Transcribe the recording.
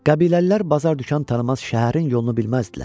Qəbiləlilər bazar dükan tanımaz, şəhərin yolunu bilməzdilər.